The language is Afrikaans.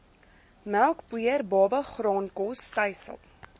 melkpoeier babagraankos stysel